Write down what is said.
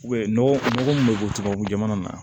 nɔgɔ min bɛ bɔ tubabu jamana na